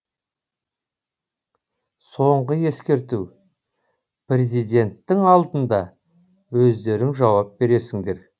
соңғы ескерту президенттің алдында өздерің жауап бересіңдер